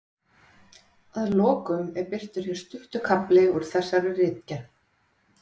Að lokum er birtur hér stuttur kafli úr þessari ritgerð